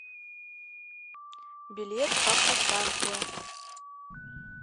билет автостанция